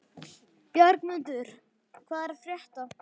Bjargmundur, hvað er að frétta?